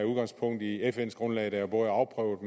udgangspunkt i fns grundlag der både er afprøvet